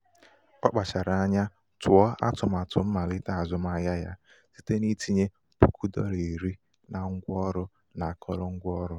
ọ kpachara um anya tụọ atụmatụ um mmalite azụmahịa ya site n'itinye um puku dola iri na ngwa ọrụ na akụrụngwa ọrụ.